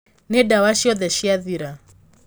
Nī ndawa ciothe ciathira.